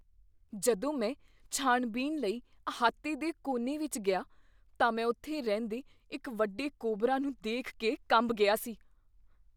ਜਦੋਂ ਮੈਂ ਛਾਣਬੀਣ ਲਈ ਅਹਾਤੇ ਦੇ ਕੋਨੇ ਵਿੱਚ ਗਿਆ, ਤਾਂ ਮੈਂ ਉੱਥੇ ਰਹਿੰਦੇ ਇੱਕ ਵੱਡੇ ਕੋਬਰਾ ਨੂੰ ਦੇਖ ਕੇ ਕੰਬ ਗਿਆ ਸੀ।